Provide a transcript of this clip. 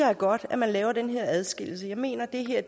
er godt at man laver den her adskillelse jeg mener at det her